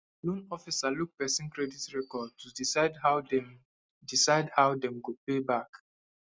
loan officer look person credit record to decide how dem decide how dem go pay back